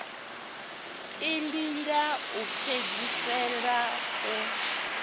iḽi ḽa u fhedzisela u